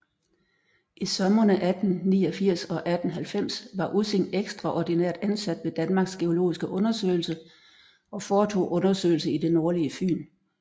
I somrene 1889 og 1890 var Ussing ekstraordinært ansat ved Danmarks geologiske Undersøgelse og foretog undersøgelser i det nordlige Fyn